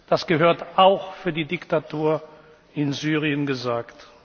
werden. Das gehört auch für die Diktatur in Syrien